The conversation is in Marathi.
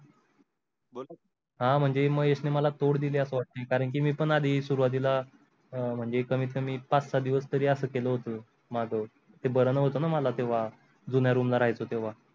हा म्हणजे महेशने मला तोड दिल्या अस वाटते कारण की मी पण आधी सुरुवातीला म्हणजे कमीत कमी पाच सहा दिवस तरी असं केलं होतं माझं ते बरं नहोतं न मला तेव्हा जुन्या room ला राहायचो तेव्हा.